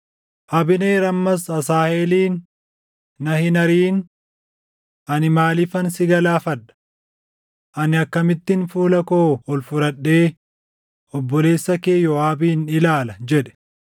Abneer ammas Asaaheelin, “Na hin ariʼin! Ani maaliifan si galaafadha? Ani akkamittin fuula koo ol fudhadhee obboleessa kee Yooʼaabin ilaala?” jedhe.